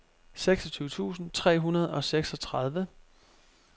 seksogtyve tusind tre hundrede og seksogtredive